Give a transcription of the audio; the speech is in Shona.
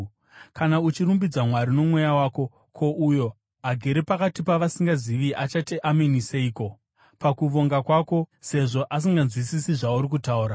Kana uchirumbidza Mwari nomweya wako, ko, uyo agere pakati pavasingazivi achati, “Ameni” seiko, pakuvonga kwako, sezvo asinganzwisisi zvauri kutaura?